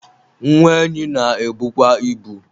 nwa enyi na-ebukwa ibu